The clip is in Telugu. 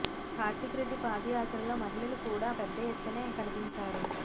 కార్తిక్ రెడ్డి పాదయాత్రలో మహిళలు కూడా పెద్ద యెత్తునే కనిపించారు